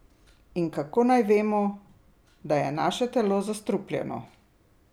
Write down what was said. In kako naj vemo, da je naše telo zastrupljeno?